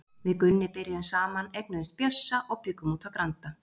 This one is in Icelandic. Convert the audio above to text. Við Gunni byrjuðum saman, eignuðumst Bjössa og bjuggum úti á Granda.